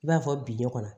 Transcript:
I b'a fɔ bi ne kɔnɔ